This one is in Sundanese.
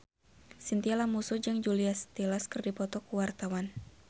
Chintya Lamusu jeung Julia Stiles keur dipoto ku wartawan